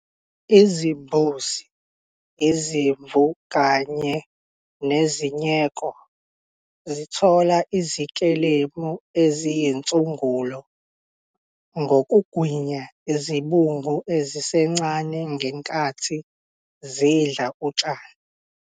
Izimbuzi, izimvu kanye nezinyeko zithola izikelemu eziyizinsungulo ngokugwinya izibungu ezisencane ngenxathi zidla utshani.